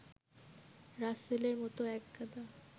রাসেলের মতো একগাদা